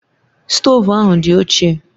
Stoovu ahụ dị ochie